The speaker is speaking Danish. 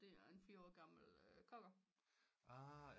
Det er en 4 år gammen cocker